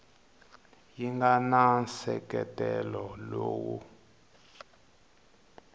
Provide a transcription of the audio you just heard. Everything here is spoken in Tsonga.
yi nga na nseketelo lowu